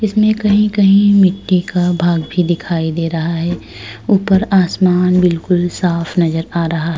में कही कही मिटटी का भाग भी दिखाई दे रहा है ऊपर आसमान बिलकुल साफ़ नज़र आ रहा है।